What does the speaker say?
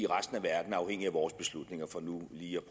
resten af verden er afhængige af vores beslutninger for nu lige at